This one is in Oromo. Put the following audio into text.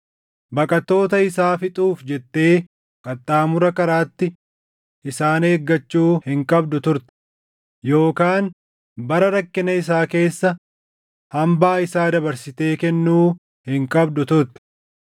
Baqattoota isaa fixuuf jettee qaxxaamura karaatti isaan eeggachuu hin qabdu turte; yookaan bara rakkina isaa keessa hambaa isaa dabarsitee kennuu hin qabdu turte.